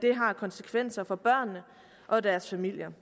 konsekvenser for børnene og deres familier